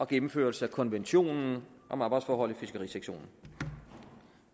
gennemførelsen af konventionen om arbejdsforhold i fiskerisektoren